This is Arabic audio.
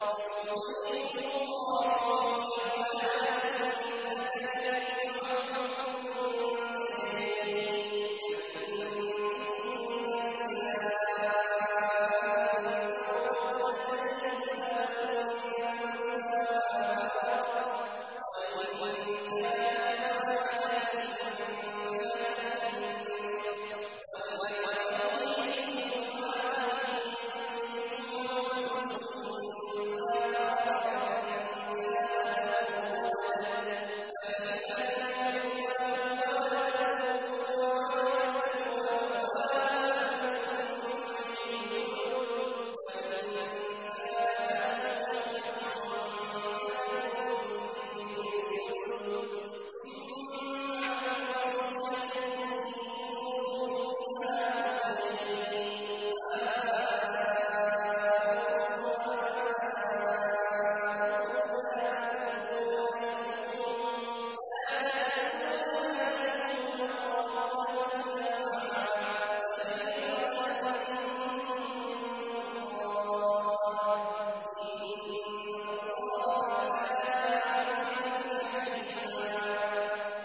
يُوصِيكُمُ اللَّهُ فِي أَوْلَادِكُمْ ۖ لِلذَّكَرِ مِثْلُ حَظِّ الْأُنثَيَيْنِ ۚ فَإِن كُنَّ نِسَاءً فَوْقَ اثْنَتَيْنِ فَلَهُنَّ ثُلُثَا مَا تَرَكَ ۖ وَإِن كَانَتْ وَاحِدَةً فَلَهَا النِّصْفُ ۚ وَلِأَبَوَيْهِ لِكُلِّ وَاحِدٍ مِّنْهُمَا السُّدُسُ مِمَّا تَرَكَ إِن كَانَ لَهُ وَلَدٌ ۚ فَإِن لَّمْ يَكُن لَّهُ وَلَدٌ وَوَرِثَهُ أَبَوَاهُ فَلِأُمِّهِ الثُّلُثُ ۚ فَإِن كَانَ لَهُ إِخْوَةٌ فَلِأُمِّهِ السُّدُسُ ۚ مِن بَعْدِ وَصِيَّةٍ يُوصِي بِهَا أَوْ دَيْنٍ ۗ آبَاؤُكُمْ وَأَبْنَاؤُكُمْ لَا تَدْرُونَ أَيُّهُمْ أَقْرَبُ لَكُمْ نَفْعًا ۚ فَرِيضَةً مِّنَ اللَّهِ ۗ إِنَّ اللَّهَ كَانَ عَلِيمًا حَكِيمًا